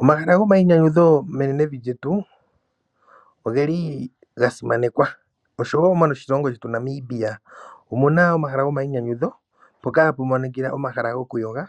Omahala gomainyanyudho menenevi lyetu oge li ga simanekwa. Oshowo moshilongo shetu Namibia omuna omahala gomainyanyudho mpoka hapu monikila omahala gokuyoga,